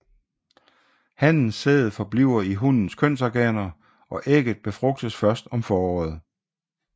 Hannens sæd forbliver i hunnens kønsorganer og ægget befrugtes først om foråret